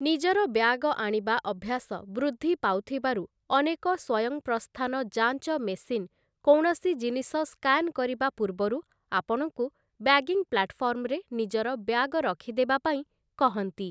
ନିଜର ବ୍ୟାଗ ଆଣିବା ଅଭ୍ୟାସ ବୃଦ୍ଧି ପାଉଥିବାରୁ, ଅନେକ ସ୍ଵୟଂପ୍ରସ୍ଥାନ ଯାଞ୍ଚ ମେସିନ୍ କୌଣସି ଜିନିଷ ସ୍କାନ୍‌ କରିବା ପୂର୍ବରୁ ଆପଣଙ୍କୁ ବ୍ୟାଗିଂ ପ୍ଲାଟଫର୍ମରେ ନିଜର ବ୍ୟାଗ ରଖିଦେବା ପାଇଁ କହନ୍ତି ।